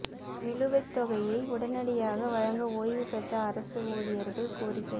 நிலுவைத் தொகையை உடனடியாக வழங்க ஓய்வு பெற்ற அரசு ஊழியா்கள் கோரிக்கை